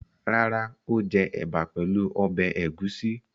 Rárá, ó jẹ ẹ̀bà pẹ̀lú ọbẹ̀ ẹ̀gúsí.